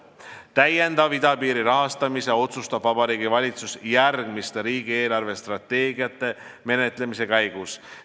Idapiiri täiendava rahastamise otsustab Vabariigi Valitsus järgmiste riigi eelarvestrateegiate menetlemise käigus.